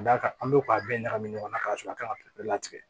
Ka d'a kan an bɛ k'a bɛɛ ɲagami ɲɔgɔn na k'a sɔrɔ a kan ka bɛɛ latigɛ